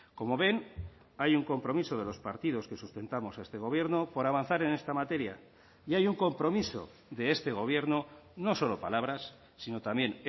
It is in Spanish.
como ven hay un compromiso de los partidos que sustentamos a este gobierno por avanzar en esta materia y hay un compromiso de este gobierno no solo palabras sino también